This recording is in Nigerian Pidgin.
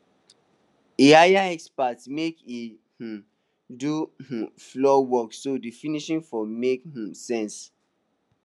he hire expert make e um do um floor work so di finishing fo make um sense